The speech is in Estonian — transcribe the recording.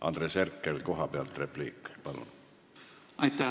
Andres Herkel, repliik kohapealt, palun!